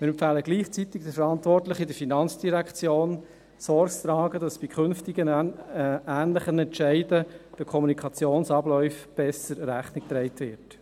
Wir empfehlen gleichzeitig den Verantwortlichen in der FIN, Sorge zu tragen, dass bei künftigen ähnlichen Entscheiden den Kommunikationsabläufen besser Rechnung getragen wird.